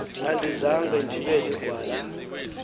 andizanga ndibe ligwala